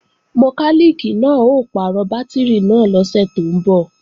Mọkálìkì náà ó pàrọ̀ bátìrì náà lọ́sẹ̀ tó ń bọ̀